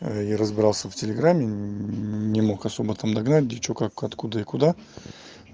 я разбирался в телеграме не мог особо там догнать где что как откуда и куда